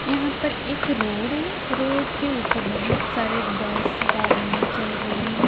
यहाँ पर एक रोड है रोड के ऊपर बहुत सारे बस गाड़ियाँ चल रही हैं।